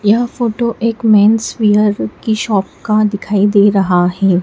यह फोटो एक menswear की शॉप का दिखाई दे रहा है।